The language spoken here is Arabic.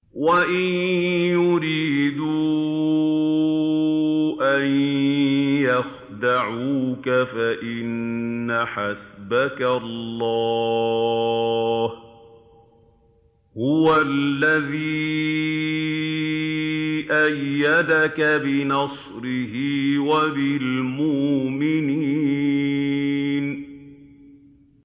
وَإِن يُرِيدُوا أَن يَخْدَعُوكَ فَإِنَّ حَسْبَكَ اللَّهُ ۚ هُوَ الَّذِي أَيَّدَكَ بِنَصْرِهِ وَبِالْمُؤْمِنِينَ